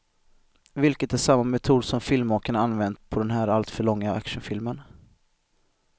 Vilket är samma metod som filmmakarna använt på den här alltför långa actionfilmen.